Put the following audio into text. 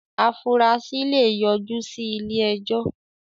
afurasí lè yọ jú sí ilé-ẹjọ́.